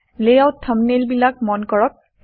layout থাম্বনেইলবিলাক মন কৰক